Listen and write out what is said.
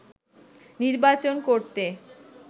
নির্বাচন করতে